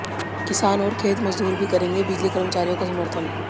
किसान और खेत मजदूर भी करेगें बिजली कर्मचारियों का समर्थन